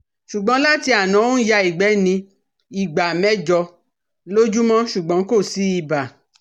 Ṣùgbọ́n láti àná ó ń ya igbe ní ìgbà mẹ́jọ lójúmọ́ ṣùgbọ́n kò sí ibà